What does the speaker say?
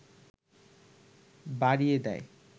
বাড়িয়ে দেয়